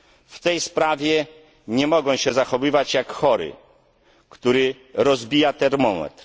W tej sprawie nie mogą się zachowywać jak chory, który rozbija termometr.